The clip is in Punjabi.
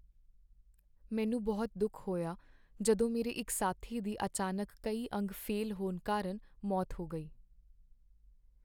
ਮੈਨੂੰ ਬਹੁਤ ਦੁੱਖ ਹੋਇਆ ਜਦੋਂ ਮੇਰੇ ਇੱਕ ਸਾਥੀ ਦੀ ਅਚਾਨਕ ਕਈ ਅੰਗ ਫੇਲ੍ਹ ਹੋਣ ਕਾਰਨ ਮੌਤ ਹੋ ਗਈ।